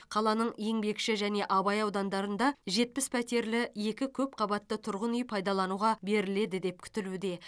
қаланың еңбекші және абай аудандарында жетпіс пәтерлі екі көпқабатты тұрғын үй пайдалануға беріледі деп күтілуде